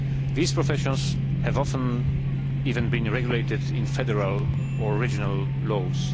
These professions have often even been regulated in federal or regional laws.